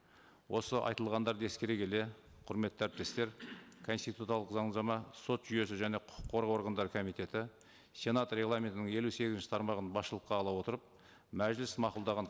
осы айтылғандарды ескере келе құрметті әріптестер конституциялық заңнама сот жүйесі және құқық қорғау органдары комитеті сенат регламентінің елу сегізінші тармағын басшылыққа ала отырып мәжіліс мақұлдаған